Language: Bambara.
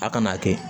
A kana kɛ